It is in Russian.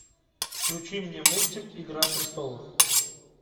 включи мне мультик игра престолов